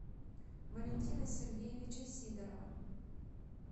валентина сергеевича сидорова